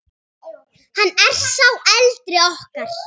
Hann er sá eldri okkar.